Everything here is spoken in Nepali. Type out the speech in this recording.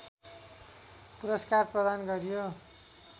पुरस्कार प्रदान गरियो